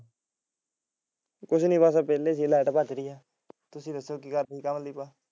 ਕੁਝ ਨੀ ਬਸ ਵਿਹਲੇ light ਭੱਜ ਗਈ ਤੁਸੀਂ ਦੱਸੋ